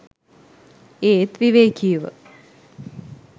ඒත් විවේකීව